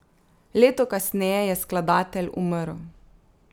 Leto kasneje je skladatelj umrl.